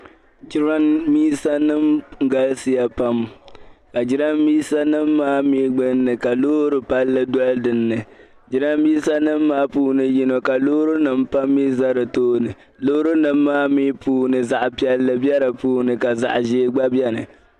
jirambisanima galisiya pam ka jirambisanima maa gbunni ka loori palli doli dinni jirambisanima maa puuni yini ka loorinima pam mi za di tooni loorinima maa mi puuni zaɣ' piɛlli be di puuni ka zaɣ' ʒee gba beni